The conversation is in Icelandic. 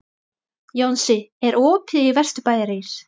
Jónsi, er opið í Vesturbæjarís?